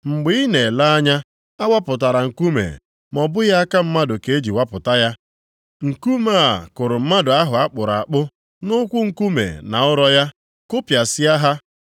Mgbe ị na-ele anya, a wapụtara nkume, ma ọ bụghị aka mmadụ ka e ji wapụta ya. Nkume a kụrụ mmadụ ahụ a kpụrụ akpụ nʼukwu nkume na ụrọ ya, kụpịasịa ha.